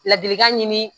Ladilikan ɲini